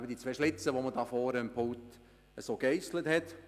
Es entstehen eben zwei Schlitze, die einige Redner vorhin gegeisselt haben.